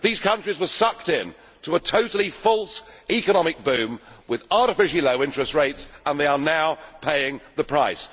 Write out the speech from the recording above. These countries were sucked in to a totally false economic boom with artificially low interest rates, and they are now paying the price.